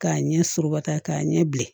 K'a ɲɛ suruba ta k'a ɲɛ bilen